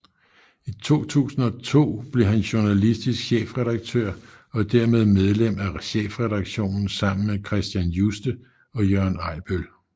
I 2002 blev han journalistisk chefredaktør og dermed medlem af chefredaktionen sammen med Carsten Juste og Jørgen Ejbøl